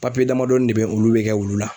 Papiye damadɔnin de bɛ, olu be kɛ wulu la.